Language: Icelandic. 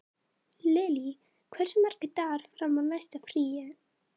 Lily, hversu margir dagar fram að næsta fríi?